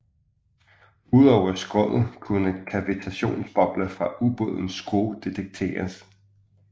Udover skroget kunne kavitationsbobler fra ubådens skrue detekteres